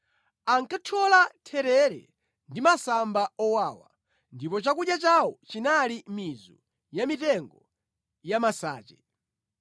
Ankathyola therere ndi masamba owawa, ndipo chakudya chawo chinali mizu ya mitengo ya masache.